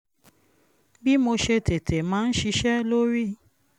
bí mo ṣe tètè máa ń ṣiṣẹ́ lórí